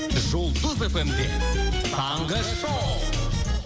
жұлдыз эф эм де таңғы шоу